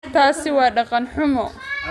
Taasi waa dhaqan xumo